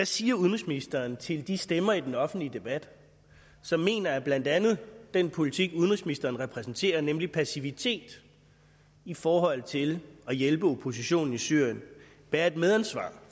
siger udenrigsministeren til de stemmer i den offentlige debat som mener at blandt andet den politik udenrigsministeren repræsenterer nemlig passivitet i forhold til at hjælpe oppositionen i syrien bærer et medansvar